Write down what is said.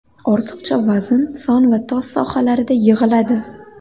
Ortiqcha vazn son va tos sohalarida yig‘iladi.